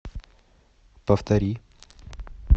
повтори